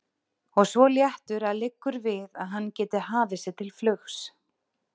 Og svo léttur að liggur við að hann geti hafið sig til flugs.